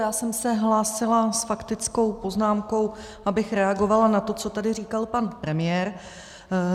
Já jsem se hlásila s faktickou poznámkou, abych reagovala na to, co tady říkal pan premiér.